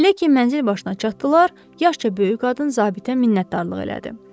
Elə ki mənzil başına çatdılar, yaşca böyük qadın zabitə minnətdarlıq elədi.